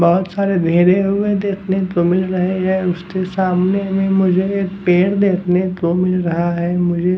बहुत सारे धेरे हुए देखने को मिल रहे हैं उसके सामने में मुझे एक पेड़ देखने को मिल रहा है मुझे --